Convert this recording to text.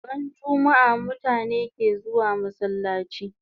Ran jummaa mutane ke zuwa masallachi